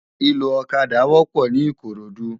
Iló ókàdá wòpò ni Ikorodu